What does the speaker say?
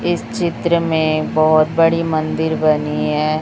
इस चित्र में बहोत बड़ी मंदिर बनी है।